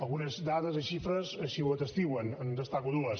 algunes dades i xifres així ho testimonien en destaco dues